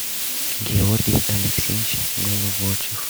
георгий алексеевич головочев